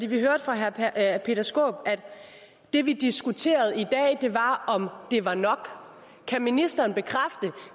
vi hørte fra herre peter skaarup at det vi diskuterede i dag var om det var nok kan ministeren bekræfte